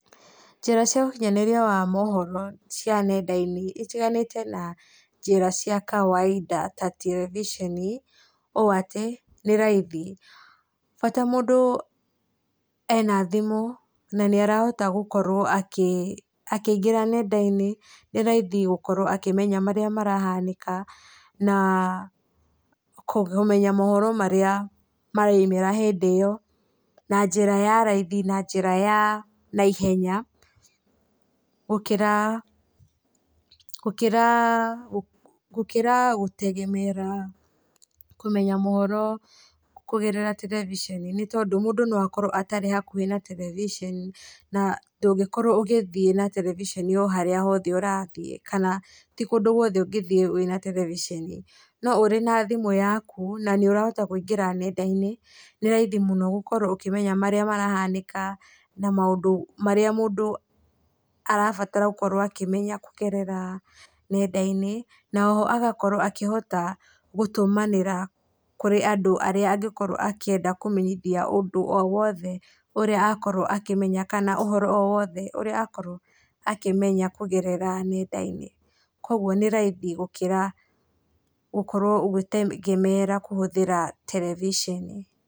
Njĩra cĩa ũkĩnyanĩrĩa wa mohoro cia nenda-inĩ itĩganĩte na njĩra cia kawainda ta terebiceni, ũ atĩ nĩ raithi bata mũndũ ena thĩmũ na nĩarahota gũkorwo akĩingĩra nendainĩ nĩ raĩthĩ gũkorwo akĩmenya marĩa marahanĩka na kũmenya mohoro marĩa maraimĩra hĩndĩ ĩyo, na njĩra ya raithi na njĩra ya naihenya gũkĩra gũtegeemera kũmenya mohoro kũgerera terebiceni, nĩ tondũ mũndũ no akorwo atarĩ hakũhĩ na terebiceni na ndũngĩkorwo ũgĩthĩe na terebiceni harĩa o hothe ũrathĩe tĩ kũndũ gwothe ũgĩthĩe wĩna terebiceni no wĩna thĩmũ yakũ na nĩ ũrahota kũingĩra nendainĩ nĩ raĩthĩ mũno gũkorwo ũkĩmenya marĩa marahanĩka na maũndũ marĩa mũndũ arabata gũkorwo akĩmenya kũgerera nendainĩ na oho agakorwo akĩhota gũtũmanĩra kũrĩ andũ arĩa agĩkorwo akĩenda kũmenyithia ũndũ o wothe ũrĩa agĩkorwo akĩmenya ũhoro o wothe ũrĩa akoro akĩmenya kũgerera nendainĩ, kwoguo nĩ raĩthĩ gũkĩra gũkorwo ũgĩtegemeera kũhuthĩra terebiceni.